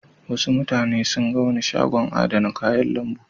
Wasu mutane sun ga wani shagon adana kayan lambu.